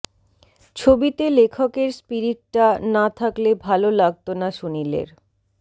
ছবিতে লেখকের স্পিরিটটা না থাকলে ভালো লাগতো না সুনীলের